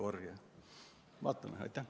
Vaatame!